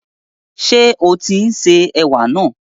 Ṣé o tín se ẹ̀wà náà?